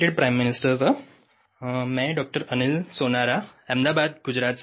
Sound bite